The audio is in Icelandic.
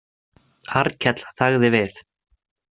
Arnkell þagði við.